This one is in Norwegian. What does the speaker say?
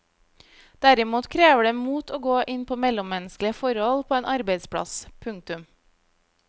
Derimot krever det mot å gå inn på mellommenneskelige forhold på en arbeidsplass. punktum